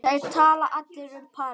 Þeir tala allir um París.